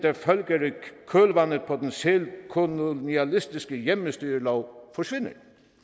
senkolonialistiske hjemmestyrelov forsvinder